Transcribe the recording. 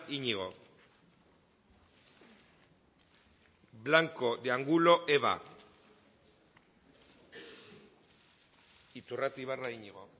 iñigo blanco de angulo eva iturrate ibarra iñigo